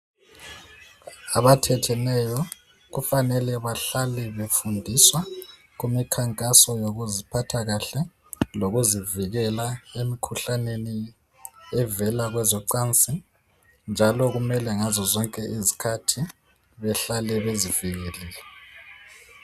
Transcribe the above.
Abathetheneyo kufanele bahlale befundiswa kumikhankaso ngokuziphatha kahle lokuzivikela emkhuhlaneni evela kwezocansi njalo kumele ngazozonke izikhathi behlale bezivikelile.